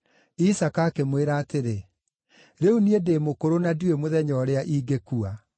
Isaaka akĩmwĩra atĩrĩ, “Rĩu niĩ ndĩ mũkũrũ na ndiũĩ mũthenya ũrĩa ingĩkua.